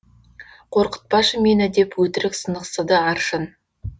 қорқытпашы мені деп өтірік сынықсыды аршын